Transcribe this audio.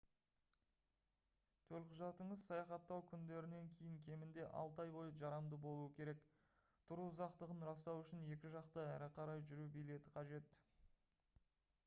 төлқұжатыңыз саяхаттау күндерінен кейін кемінде 6 ай бойы жарамды болуы керек. тұру ұзақтығын растау үшін екі жақты/әрі қарай жүру билеті қажет